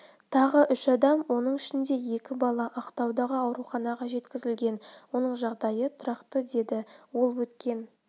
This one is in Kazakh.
тағы үш адам оның ішінде екі бала ақтаудағы ауруханаға жеткізілген оның жағдайы тұрақты деді ол өткен